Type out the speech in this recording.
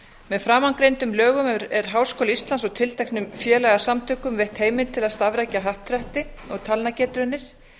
með framangreindum lögum er háskóla íslands og tilteknum félagasamtökum veitt heimild til að starfrækja happdrætti og talnagetraunir